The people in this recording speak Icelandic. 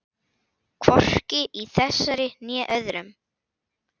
Hvorki í þessari né öðrum.